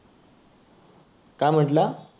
काय म्हटला?